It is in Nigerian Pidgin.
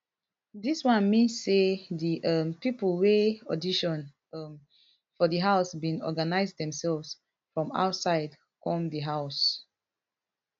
dis one mean say di um pipo wey audition um for di house bin organise demselves from outside come di house